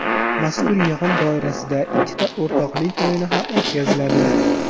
Mazkur yig‘in doirasida ikkita o‘rtoqlik o‘yini ham o‘tkaziladi.